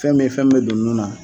Fɛn min ,fɛn mun bɛ don nun na.